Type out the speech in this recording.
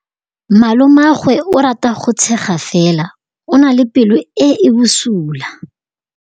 Malomagwe o rata go tshega fela o na le pelo e e bosula.